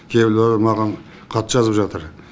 кейбіреуі маған хат жазып жатыр